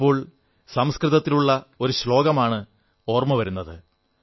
എനിക്കിപ്പോൾ സംസ്കൃതത്തിലുള്ള ഒരു ശ്ലോകമാണ് ഓർമ്മ വരുന്നത്